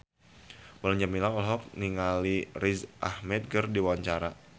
Mulan Jameela olohok ningali Riz Ahmed keur diwawancara